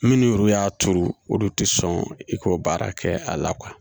Minnu y'u y'a turu olu tɛ sɔn i ko baara kɛ a la kuwa